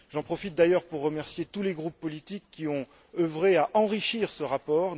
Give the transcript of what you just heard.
J'en profite d'ailleurs pour remercier tous les groupes politiques qui ont œuvré à enrichir ce rapport.